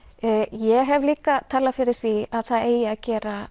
ég hef líka talað fyrir því að það eigi að gera